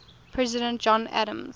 president john adams